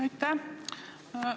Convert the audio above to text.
Aitäh!